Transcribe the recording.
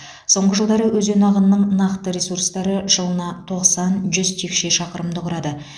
соңғы жылдары өзен ағынының нақты ресурстары жылына тоқсан жүз текше шақырымды құрады